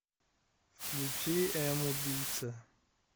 включи убийца